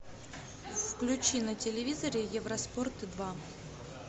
включи на телевизоре евроспорт два